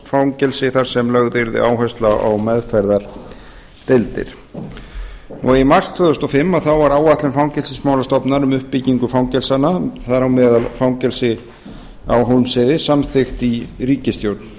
gæsluvarðhaldsfangelsi þar sem lögð yrði áhersla á meðferðardeildir í mars tvö þúsund og fimm var áætlun fangelsismálastofnunar um uppbyggingu fangelsanna þar á meðal fangelsis á hólmsheiði samþykkt í ríkisstjórn